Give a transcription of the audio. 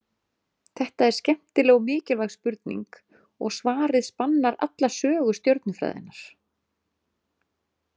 Þetta er skemmtileg og mikilvæg spurning og svarið spannar alla sögu stjörnufræðinnar.